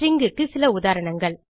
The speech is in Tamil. stringக்கு சில உதாரணங்கள்